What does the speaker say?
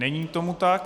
Není tomu tak.